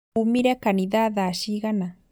Umire kanitha thaa cigana?